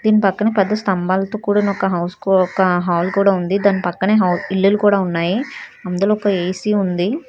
దీని పక్కనే పెద్ద స్తంభాలతో కూడిన ఒక హౌస్ కొక కూడా ఒక హాల్ కూడా దాని పక్కనే ఇల్లు కూడా ఉన్నాయి అందులో ఒక ఏ_సి ఉంది.